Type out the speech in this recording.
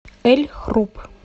эль хруб